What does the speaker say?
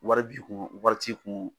Wari b'i kun, wari wari t'i kun,